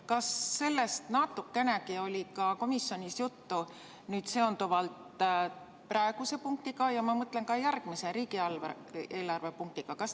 Kas sellest probleemist oli natukenegi komisjonis juttu seoses praeguse punktiga ja ka järgmise, riigieelarve punktiga?